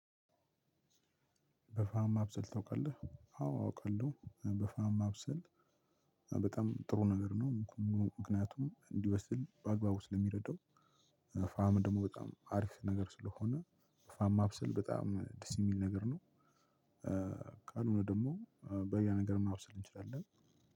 በፋህም ማብሰል ታውቃለህ? አዎ አውቃለሁ በፋህም ማብሰል በጣም ጥሩ ነገር ነው። ምክንያቱም እንዲበስ በአግባቡ ስለሚረዳው ፋም ደግሞ በጣም አሪፍ ነገር ስለሆነ። ፋም ማብሰል በጣም ደስ የሚል ነገር ነው። ካልሆነ ደግሞ በሌላ ነገር መብሰል እንችላለን።